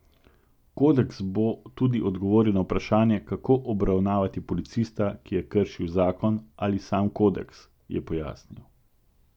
Kodeks bo tudi odgovoril na vprašanje, kako obravnavati policista, ki je kršil zakon ali sam kodeks, je pojasnil.